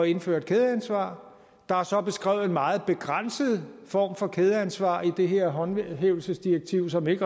indføre et kædeansvar der er så beskrevet en meget begrænset form for kædeansvar i det her håndhævelsesdirektiv som ikke